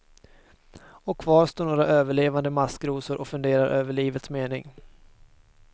Och kvar står några överlevande maskrosor och funderar över livets mening.